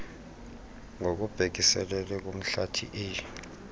ngokubhekiselele kumhlathi a